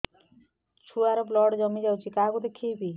ଛୁଆ ର ବ୍ଲଡ଼ କମି ଯାଉଛି କାହାକୁ ଦେଖେଇବି